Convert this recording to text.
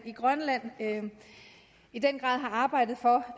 i grønland i den grad har arbejdet for